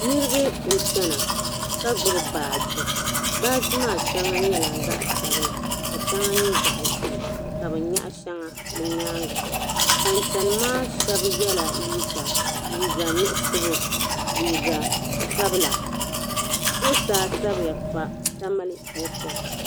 Niriba n-chana ka gbibi baaji. Baaji maa shɛŋa nyɛla zaɣ' sabila ka shɛŋa nyɛ zaɣ' ʒee ka bɛ nyaɣi shɛŋa bɛ nyaaŋga. Ban chani maa shɛba nyɛla liiga nuɣiso liiga sabila. Zuɣusaa sabiya pa Tamale Ɛpɔti.